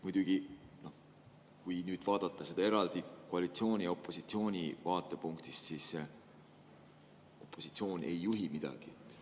Muidugi, kui nüüd vaadata seda eraldi koalitsiooni ja opositsiooni vaatepunktist, siis opositsioon ei juhi midagi.